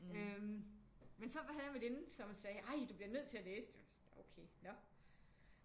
Øh men så havde jeg en veninde som sagde ej du bliver nødt til at læse dem okay nå